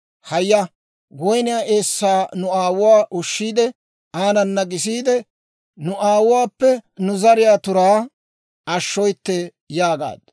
Haaya; woyniyaa eessaa nu aawuwaa ushshiide, aanana gisiide, nu aawuwaappe nu zariyaa turaa ashshooytte» yaagaaddu.